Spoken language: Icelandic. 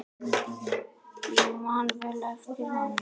Ég man vel eftir honum.